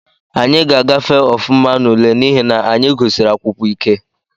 Anyị ga-afafe ofụma n’ule n’ihi na anyị gusiri akwụkwọ ike